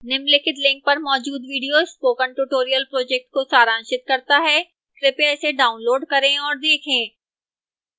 निम्नलिखित link पर मौजूद video spoken tutorial project को सारांशित करता है कृपया इसे डाउनलोड करें और देखें